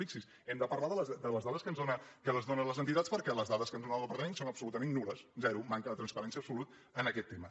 fixi’s·hi hem de parlar de les dades que ens donen les entitats perquè les dades que ens dóna el departament són absolutament nul·les ze·ro manca de transparència absoluta en aquest tema